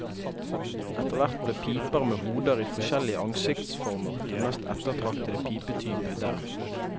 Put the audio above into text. Etterhvert ble piper med hoder i forskjellige ansiktsformer den mest ettertraktede pipetype der.